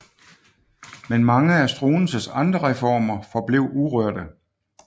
Men mange af Struensees andre reformer forblev urørte